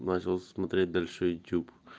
начал смотреть дальше ютуб